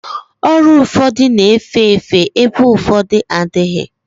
Ọrịa ụfọdụ na-efe efe ebe ụfọdụ adịghị